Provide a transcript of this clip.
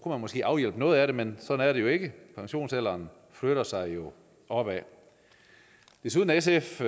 man måske afhjælpe noget af problemet men sådan er det ikke pensionsalderen flytter sig jo opad desuden er sf